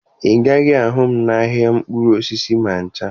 Ị gaghị ahụ m n'ahịa mkpụrụ osisi ma ncha